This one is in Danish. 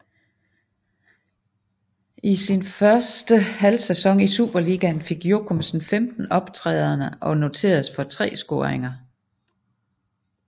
I sin første halvsæson i Superligaen fik Jochumsen 15 optrædener og noteredes for tre scoringer